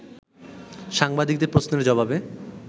সাংবাদিকদের প্রশ্নের জবাবে